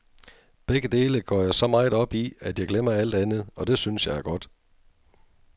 Begge dele går jeg så meget op i, at jeg glemmer alt andet, og det synes jeg er godt.